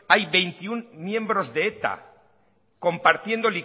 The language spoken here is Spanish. hay veintiuno miembros de eta compartiendo